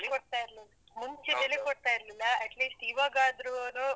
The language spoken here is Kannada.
ಕೊಡ್ತಾಇರ್ಲಿಲ್ಲ. ಮುಂಚೆ ಬೆಲೆ ಕೊಡ್ತಾ ಇರ್ಲಿಲ್ಲ at least ಇವಾಗಾದ್ರೂನೂ.